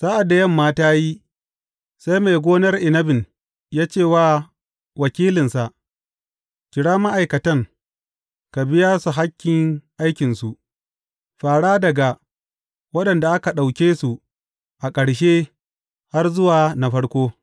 Sa’ad da yamma ta yi, sai mai gonar inabin ya ce wa wakilinsa, Kira ma’aikatan, ka biya su hakkin aikinsu, fara daga waɗanda aka ɗauke su a ƙarshe har zuwa na farko.’